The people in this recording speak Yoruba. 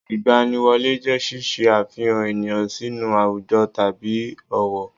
Ìgbaniwọlé jẹ́ ṣíṣe àfihàn ènìyàn sínú àwùjọ tàbí òwò